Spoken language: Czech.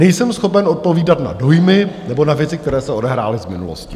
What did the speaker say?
Nejsem schopen odpovídat na dojmy nebo na věci, které se odehrály v minulosti.